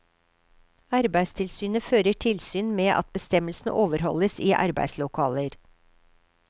Arbeidstilsynet fører tilsyn med at bestemmelsene overholdes i arbeidslokaler.